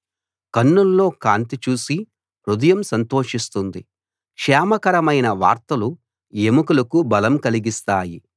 కన్నుల్లో కాంతి చూసి హృదయం సంతోషిస్తుంది క్షేమకరమైన వార్తలు ఎముకలకు బలం కలిగిస్తాయి